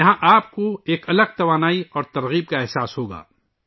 یہاں آپ کو ایک مختلف توانائی اور تحریک کا تجربہ ہوگا